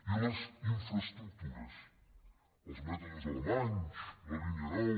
i les infraestructures els mètodes alemanys la línia nou